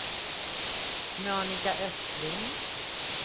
Monika Östling